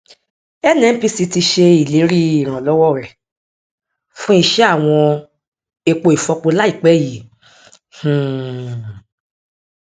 nnpc ti ṣe ìlérí ìrànlọwọ rẹ fún iṣẹ àwọn epo ifọpo láìpẹ yìí um